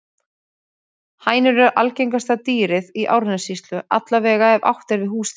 Hænur eru algengasta dýrið í Árnessýslu, alla vega ef átt er við húsdýr.